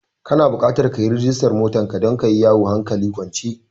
Kana da bukatar ka yi rajistar motar ka don ka yi yawo hankali kwance.